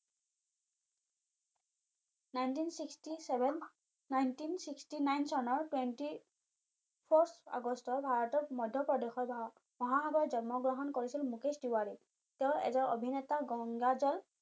nineteen sixty seven nineteen sixty nine চনৰ twenty four আগষ্ট ভাৰতৰ মধ্য প্ৰদেশৰ মহাসাগৰত জন্ম গ্ৰহণ কৰিছিল মুকেশ তিৱাৰী তেওঁ এজন অভিনেতা গঙ্গাজল